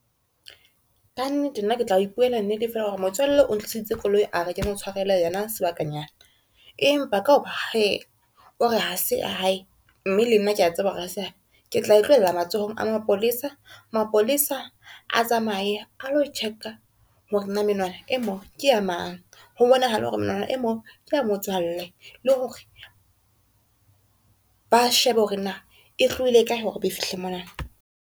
Ka nnete nna ke tla ipuela nnete fela hore motswalle o ntliseditse koloi a re ke mo tshwarele yona sebakanyana, empa ka hore he o re ha se ya hae, mme le nna ke a tseba hore ha se ya hae ke tla e tlohella matsohong a mapolesa. Mapolesa a tsamaye a lo check-a hore na menwana e moo ke ya mang, ho bonahale hore menwana e moo ke ya motswalle le hore ba shebe hore na e tlohile kae, hore e be fihle mona.